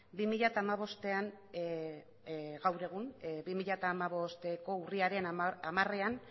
bi mila hamabostean gaur egun bi mila hamabosteko urriaren hamarean